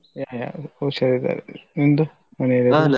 ಆ ಹುಷಾರಿದ್ದಾರೆ ನಿಂದು ಮನೇಲೆಲ್ಲಾ ?